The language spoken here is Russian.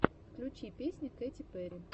включи песни кэти перри